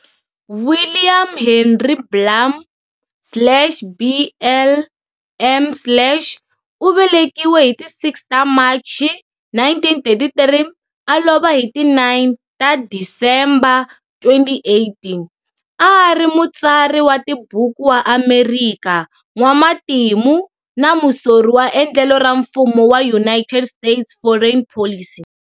William Henry Blum, slash blm slash, u velekiwe hi ti 6 ta Machi, 1933-a lova hi ti 9 ta Disemba, 2018, a a ri mutsari wa tibuku wa Amerika, n'wamatimu, na musori wa endlelo ra mfumo wa United States foreign policy.